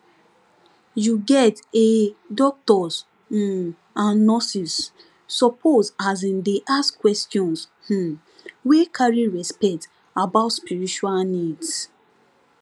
you get um doctors um and nurses suppose asin dey ask questions um wey carry respect about spiritual needs